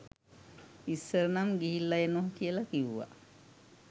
ඉස්සර නම් ගිහිල්ල එනව කියල කිව්ව